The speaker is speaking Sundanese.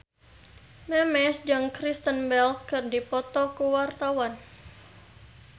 Memes jeung Kristen Bell keur dipoto ku wartawan